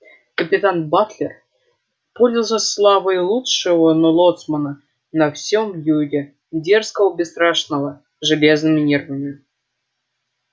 капитан батлер пользовался славой лучшего лоцмана на всем юге дерзкого бесстрашного с железными нервами